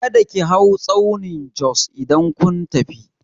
Kada ki hau tsaunin Jos idan kun tafi!